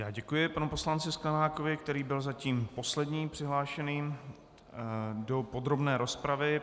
Já děkuji panu poslanci Sklenákovi, který byl zatím posledním přihlášeným do podrobné rozpravy.